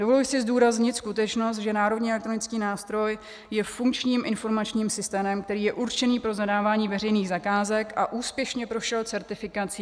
Dovoluji si zdůraznit, skutečnost, že Národní elektronický nástroj je funkčním informačním systémem, který je určený pro zadávání veřejných zakázek a úspěšně prošel certifikací.